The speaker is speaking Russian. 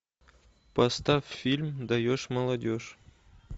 поставь фильм даешь молодежь